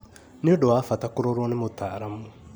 Nĩ ũndũ wa bata kũrorwo nĩ mũtaaramu